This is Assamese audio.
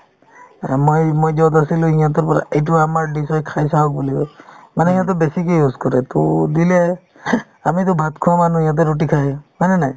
অ, মই~ মই য'ত আছিলো সিহঁতৰ পৰা এইটো আমাৰ dish হয় খাই চাওক বুলি কই মানে সিহঁতৰ বেছিকে use কৰে to দিলে আমিতো ভাত খোৱা মানুহ সিহঁতে ৰুটি খাই হয় নে নাই